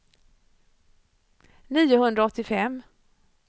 niohundraåttiofem